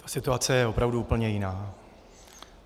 Ta situace je opravdu úplně jiná.